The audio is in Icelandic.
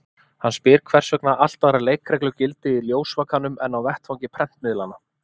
Hann spyr hvers vegna allt aðrar leikreglur gildi í ljósvakanum en á vettvangi prentmiðlanna.